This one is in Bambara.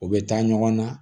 U bɛ taa ɲɔgɔn na